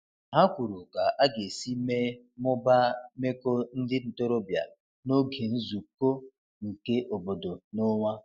Ha kwuru ka aga esi mee/mụbaa meko ndi ntorobia n'oge nzuko nke obodo n'onwa